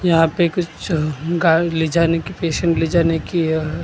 यहाँ पे कुछ ले जाने के पेशेंट ले जाने की अ।